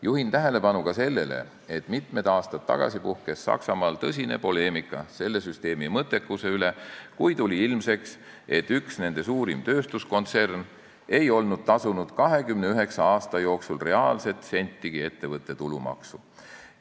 Juhin tähelepanu ka sellele, et mitmed aastad tagasi puhkes Saksamaal tõsine poleemika selle süsteemi mõttekuse üle, kui tuli ilmsiks, et üks nende suurimaid tööstuskontserne ei olnud 29 aasta jooksul reaalselt sentigi ettevõtte tulumaksu tasunud.